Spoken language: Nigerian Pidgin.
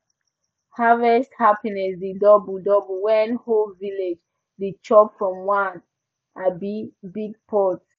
harvest happiness dey double double when whole village dey chop from one um big pot